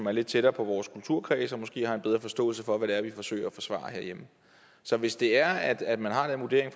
er lidt tættere på vores kulturkreds og måske har en bedre forståelse for hvad det er vi forsøger at forsvare herhjemme så hvis det er at man har den vurdering